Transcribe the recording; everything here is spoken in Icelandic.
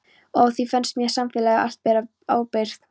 Og á því fannst mér samfélagið allt bera ábyrgð.